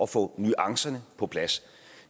få nuancerne på plads